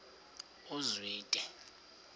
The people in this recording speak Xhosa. uzwide